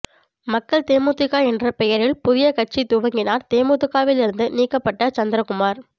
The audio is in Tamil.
மக்கள் தேமுதிக என்ற பெயரில் புதிய கட்சி துவங்கினார் தேமுதிகவில் இருந்து நீக்கப்பட்ட சந்திரகுமார்